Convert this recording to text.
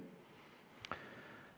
Aitäh!